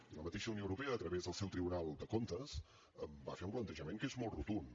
i la mateixa unió europea a través del seu tribunal de comptes va fer un plantejament que és molt rotund